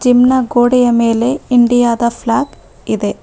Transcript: Gym ನ ಗೋಡೆಯ ಮೇಲೆ ಇಂಡಿಯಾ ದ ಫ್ಲಾಗ್ ಇದೆ.